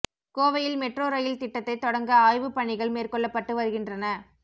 கோவையில் metro rail திட்டத்தை தொடங்க ஆய்வு பணிகள் மேற்கொள்ளப்பட்டு வருகின்றன